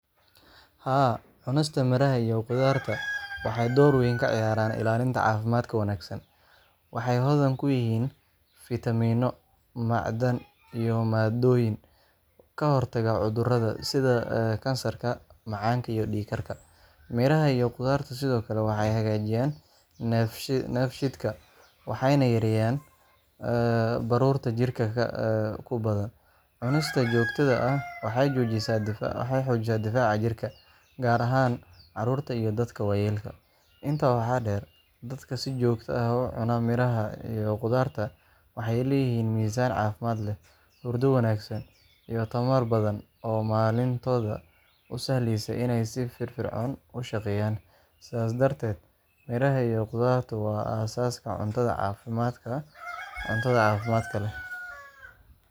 Haa, cunista miraha iyo khudaarta waxay door weyn ka ciyaartaa ilaalinta caafimaadka wanaagsan. Waxay hodan ku yihiin fiitamiinno, macdan, iyo maaddooyin ka hortaga cudurrada, sida kansarka, macaanka iyo dhiig-karka. Miraha iyo khudaartu sidoo kale waxay hagaajiyaan dheefshiidka, waxayna yareeyaan baruurta jirka ku badan. Cunista joogtada ah waxay xoojisaa difaaca jirka, gaar ahaan carruurta iyo dadka waayeelka ah. Intaa waxaa dheer, dadka si joogto ah u cunaa miraha iyo khudaarta waxay leeyihiin miisaan caafimaad leh, hurdo wanaagsan, iyo tamar badan oo maalintooda u sahlaysa inay si firfircoon u shaqeeyaan. Sidaas darteed, miraha iyo khudaartu waa aasaaska cunto caafimaad leh!